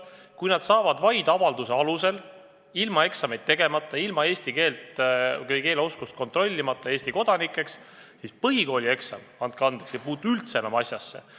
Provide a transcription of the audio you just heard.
Kui nad saavad vaid avalduse alusel, ilma eksamit tegemata, ilma eesti keele oskust tõestamata Eesti kodanikeks, siis põhikoolieksam, andke andeks, ei puutu üldse enam asjasse.